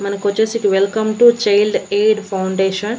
మనకొచ్చేసి ఇటు welcome to Child Aid Foundation --